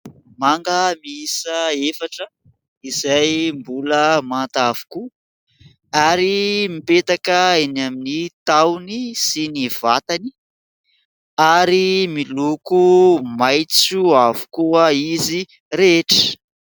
Manga miiisa efatra izay mbola manta avokoa ary mipetaka eny amin'ny tahony sy ny vatany ary miloko maitso avokoa izy rehetra.